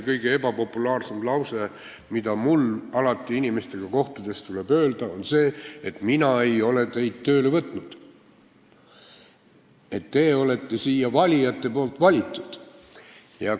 Kõige ebapopulaarsem lause, mida mul alati inimestega kohtudes tuleb öelda, on see, et mina ei ole teid, Riigikogu liikmeid, tööle võtnud, te olete siia valijate poolt valitud.